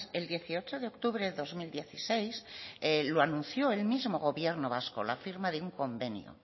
el dieciocho de octubre de dos mil dieciséis lo anunció el mismo gobierno vasco la firma de un convenio